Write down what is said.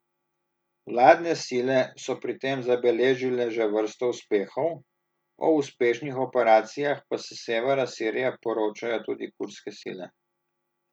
Vladne sile so pri tem zabeležile že vrsto uspehov, o uspešnih operacijah pa s severa Sirije poročajo tudi kurdske sile.